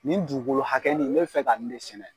Nin dugukolo hakɛ nin n' bɛ fɛ ka ni de sɛnɛ.